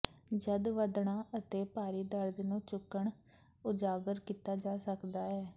ਜਦ ਵਧਣਾ ਅਤੇ ਭਾਰੀ ਦਰਦ ਨੂੰ ਚੁੱਕਣ ਉਜਾਗਰ ਕੀਤਾ ਜਾ ਸਕਦਾ ਹੈ